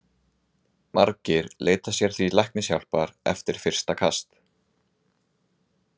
Margir leita sér því læknishjálpar eftir fyrsta kast.